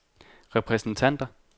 repræsentanter